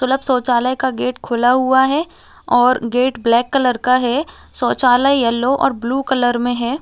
सुलभ शौचालय का गेट खुला हुआ है और गेट ब्लैक कलर का है शौचालय ब्लू और येलो कलर में है।